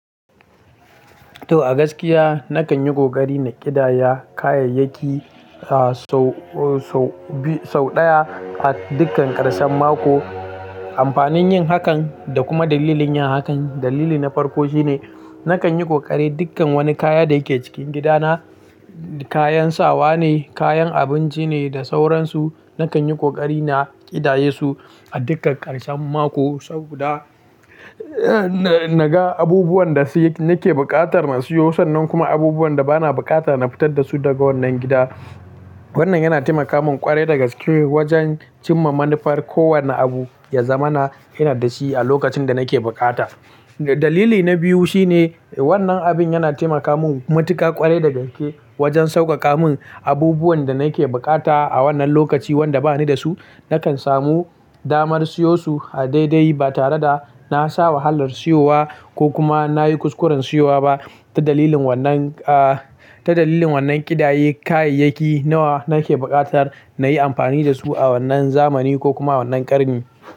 To a gaskiya nakan yi ƙoƙari na ƙidaya kayayyaki, a sau, sau biyu, sau ɗaya a dukkan karshen mako. Amfanin yin hakan da kuma dalilin yin hakan dalili na farko shine nakan yi ƙoƙari dukkan wani kaya da yake cikin gidana, kayan sawa ne, kayan abinci ne da sauransu. Nakan yi ƙoƙari na ƙidaye su a dukkan karshen mako saboda na, na ga abubuwan da nake buƙatar na siyo sannan kuma abubuwan da bana bukatar na fitar da su daga wannan gida. Wannan yana taimaka mun ƙware da gaske wajen cimma manufar ko wanne abu ya zamana ina da shi a lokacin da nake buƙata. Dalili na biyu shine wannan abin yana taimaka mun matuka ƙwarai da gaske wajen sauƙaƙa mun abubuwan da nake buƙata a wannan lokaci wanda bani da su. Nakan samu damar siyo su a daidai ba tare da na sha wahalar siyo wa ko kuma na yi kuskuren siyo wa ba. Ta dalilin wannan, a, ta dalilin wannan ƙidaye kayayyaki nawa nake buƙatar na yi amfani da su a wannan zamani ko kuma wannan ƙarni.